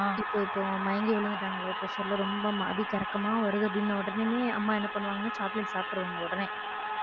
இப்போ இப்போ மயங்கி விழுந்துட்டாங்க low pressure ல ரொம்ப அப்படியே கிறக்கமா வருது அப்படின்ன உடனேயுமே அம்மா என்ன பண்ணுவாங்கன்னா chocolate சாப்பிட்டுடுவாங்க உடனே